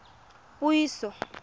puiso